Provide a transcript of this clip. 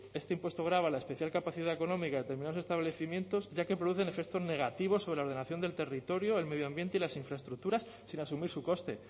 este impuesto grava la especial capacidad económica de determinados establecimientos ya que producen efectos negativos sobre la ordenación del territorio del medio ambiente y las infraestructuras sin asumir su coste